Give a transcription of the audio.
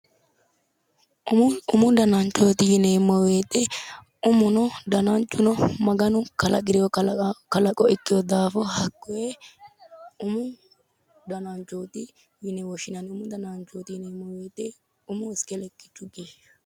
Umo umu dananchooti yineemmo woyiite umuno dananchuno Maganu kalaqirewo kalaqo ikkewo daafo hakkoye umu dananchooti yine woshshinanni. umu dananchooti yineemmo wooyiite umuyi iske lekkichu geeshshaati.